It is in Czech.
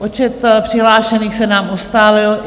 Počet přihlášených se nám ustálil.